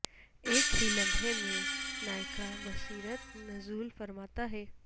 ایک ہی لمحے میں نایکا بصیرت نزول فرماتا ہے